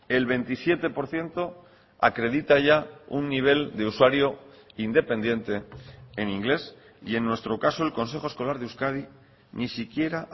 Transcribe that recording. el veintisiete por ciento acredita ya un nivel de usuario independiente en inglés y en nuestro caso el consejo escolar de euskadi ni siquiera